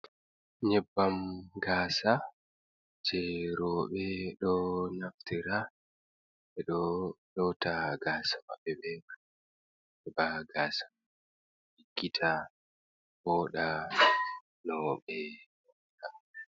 Nyebbam gasa jei rooɓe ɗo naftira be ɗo lota gasa maɓɓe ɓe man, heɓa gasa ɗiggita, vooɗa nou ɓe mari haje.